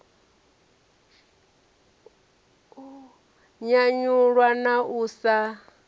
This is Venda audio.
u nyanyulwa na u sa